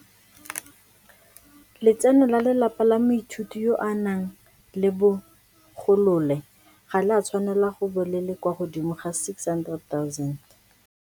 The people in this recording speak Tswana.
Letseno la lelapa la moithuti yo a nang le bo golole ga le a tshwanela go bo le le kwa godimo ga R600 000.